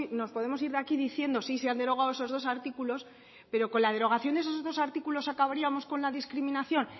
nos podemos ir de aquí diciendo sí se han derogado esos dos artículos pero con la derogación de esos dos artículos acabaríamos con la discriminación